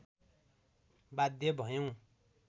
बाध्य भयौँ